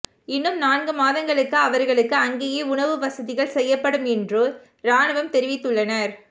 இன்னும் நான்கு மாதங்களுக்கு அவர்களுக்கு அங்கேயே உணவு வசதிகள் செய்யப்படும் என்று ராணுவம் தெரிவித்துள்ளனர்